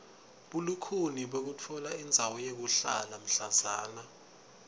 bulukhuni bekutfola indzawo yekuhlala mhlazana